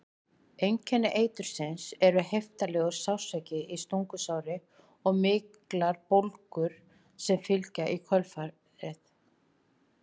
Einkenni eitursins eru heiftarlegur sársauki í stungusári og miklar bólgur sem fylgja í kjölfarið.